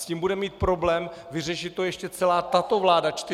S tím bude mít problém vyřešit to ještě celá tato vláda čtyři roky.